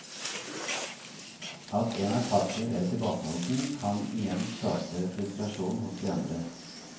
At en er passiv eller tilbakeholden, kan igjen skape frustrasjon hos de andre.